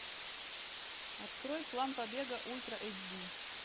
открой план побега ультра эйч ди